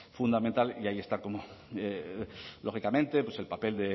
fundamental y ahí está lógicamente el papel